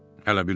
Hələ bilmirəm.